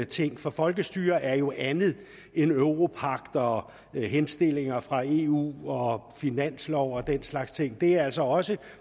ting for folkestyre er jo andet end europagt og henstillinger fra eu og finanslov og den slags ting det er altså også